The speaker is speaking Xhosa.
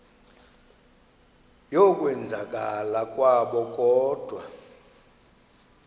yokwenzakala kwabo kodwa